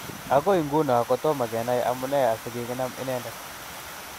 Agoi nguno kotomo kenai amune asi kikinam inendet?